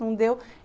Não deu.